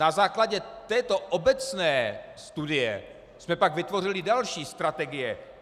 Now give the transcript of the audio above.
Na základě této obecné studie jsme pak vytvořili další strategie.